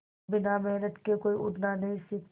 बिना मेहनत के कोई उड़ना नहीं सीखता